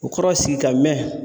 O kɔrɔ sigi ka mɛn